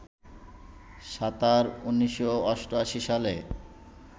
সাঁতার, ১৯৮৮ সালে